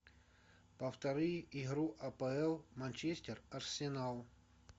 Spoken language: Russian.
повтори игру апл манчестер арсенал